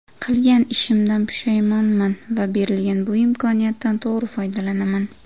Qilgan ishimdan pushaymonman va berilgan bu imkoniyatdan to‘g‘ri foydalanaman.